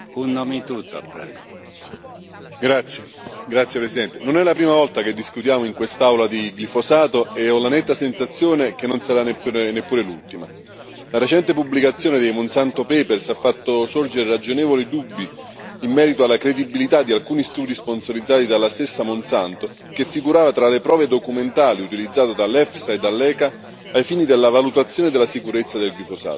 Signor Presidente, onorevoli colleghi, non è la prima volta che discutiamo in quest'Aula di glifosato e ho la netta sensazione che non sarà neppure l'ultima. La recente pubblicazione dei Monsanto Papers ha fatto sorgere ragionevoli dubbi in merito alla credibilità di alcuni studi sponsorizzati dalla stessa Monsanto, che figurava tra le prove documentali utilizzate dall'EFSA e dall'ECA ai fini della valutazione della sicurezza del glifosato.